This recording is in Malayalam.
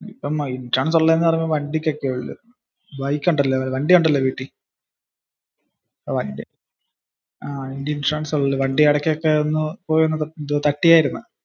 ഇൻഷുറൻസ് ഉള്ളത് എന്നൊക്കെ പറയുന്നത് വണ്ടിക്ക ആണ്. വണ്ടി ഇടയ്ക്ക ഒന്ന് പോയി തട്ടിയായിരുന്നു.